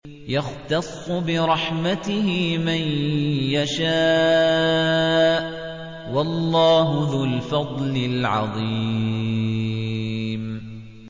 يَخْتَصُّ بِرَحْمَتِهِ مَن يَشَاءُ ۗ وَاللَّهُ ذُو الْفَضْلِ الْعَظِيمِ